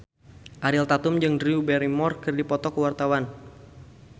Ariel Tatum jeung Drew Barrymore keur dipoto ku wartawan